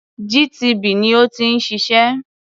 GTB ni ó ti ń ṣiṣẹ́.